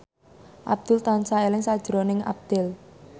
Abdul tansah eling sakjroning Abdel